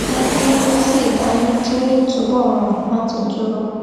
wón fi ń mu tíì dání kí ó lè túbò rọrùn láti dúró